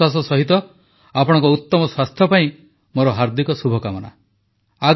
ଏହି ବିଶ୍ୱାସ ସହିତ ଆପଣଙ୍କ ଉତ୍ତମ ସ୍ୱାସ୍ଥ୍ୟ ପାଇଁ ମୋର ହାର୍ଦ୍ଦିକ ଶୁଭକାମନା